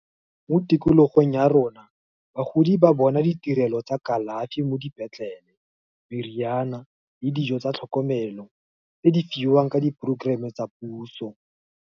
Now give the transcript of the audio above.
Mo tikologong ya rona bagodi ba bona ditirelo tsa kalafi mo dipetlele, meriana, le dijo tsa tlhokomelo, tse di fiwang ka di programm-e tsa puso.